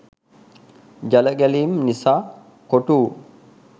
ජලගැලීම් නිසා කොටුවූ